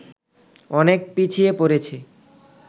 অনেক পিছিয়ে পড়েছে